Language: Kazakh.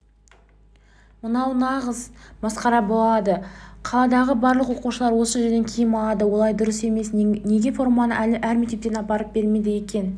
мынау нағыз масқара болды қаладағы барлық оқушылар осы жерден киім алады олай дұрыс емес неге форманы әр мектепке апарып бермейді екен